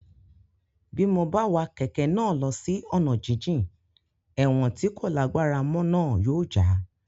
Bí mo bá wa kẹ̀kẹ́ náà lọ sí ọ̀nà jínjìn ẹ̀wọ̀n tí kò lágbára mọ́ náà yóò já